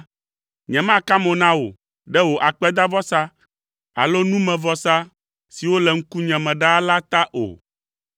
Nyemeka mo na wò ɖe wò akpedavɔsa alo numevɔsa siwo le ŋkunye me ɖaa la ta o.